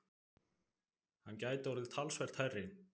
Hann gæti orðið talsvert hærri.